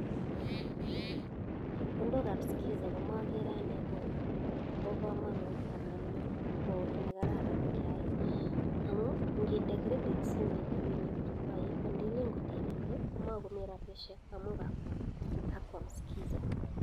Chepkondokab skiza komogere ana Kobe komonut ana ko kit nekararan keyai amun ingine kredit simet Ile ibirtoen ndile ko ibirte ko mokimi rabishek amun kakwam skiza.